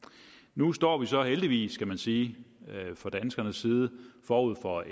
nu står vi så heldigvis kan man sige fra danskernes side forud for et